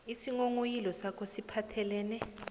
isinghonghoyilo sakho siphathelene